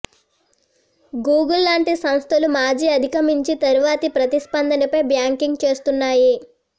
Google లాంటి సంస్థలు మాజీ అధిగమించి తరువాతి ప్రతిస్పందనపై బ్యాంకింగ్ చేస్తున్నాయి